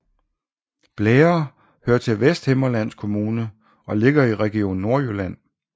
Blære hører til Vesthimmerlands Kommune og ligger i Region Nordjylland